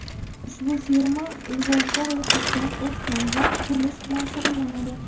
Ushbu firma Lvovda ro‘yxatdan o‘tgan va qurilish bilan shug‘ullanadi.